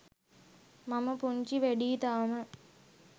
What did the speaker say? මම පුංචි වැඩියි තාම.